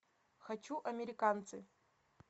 хочу американцы